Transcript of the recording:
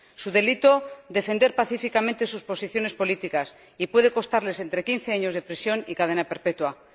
Su delito defender pacíficamente sus posiciones políticas, lo que puede costarles entre quince años de prisión y cadena perpetua.